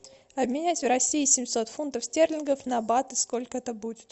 обменять в россии семьсот фунтов стерлингов на баты сколько это будет